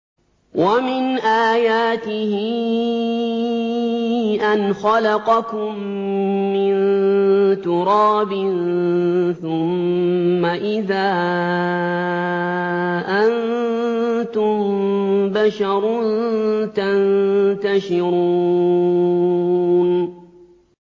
وَمِنْ آيَاتِهِ أَنْ خَلَقَكُم مِّن تُرَابٍ ثُمَّ إِذَا أَنتُم بَشَرٌ تَنتَشِرُونَ